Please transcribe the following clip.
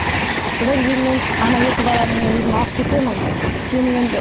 содан кейін мен ана екі баланы мен өзім алып кетемін сен енді